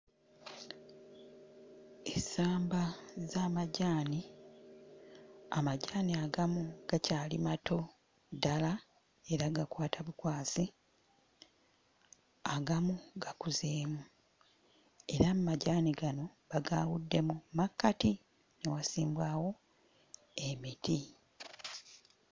Essamba z'amajaani, amajaani agamu gakyali mato ddala era gakwata bukwasi, agamu gakuzeemu era amajaani gano bagaawuddemu, mu makkati ne wasimbwawo emiti.